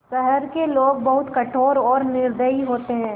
शहर के लोग बहुत कठोर और निर्दयी होते हैं